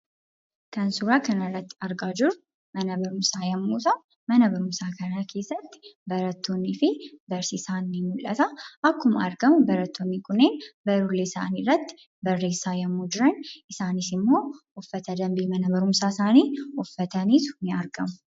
Kan suuraa kanarratti argaa jirru, Mana barumsaa yemmu ta'u, Mana barumsaa kana keessatti Barattoonni fi Barsiisaan ni mul'ata. Akkuma argamu barattoonni kun barruulee isaanii irratti barreessaa yemmuu jiran ,isaanis immoo, uffata danbii Mana barumsaa isaanii uffatanitu ni argamu.